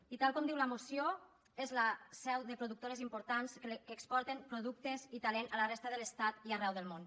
i tal com diu la moció és la seu de productores importants que exporten productes i talent a la resta de l’estat i arreu del món